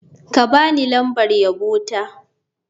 Ka ba ni lambar yabo ta.